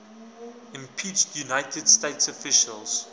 impeached united states officials